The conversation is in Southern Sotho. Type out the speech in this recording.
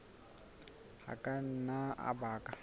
a ka nna a baka